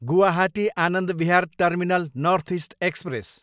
Guwahati, Anand Vihar terminal north east express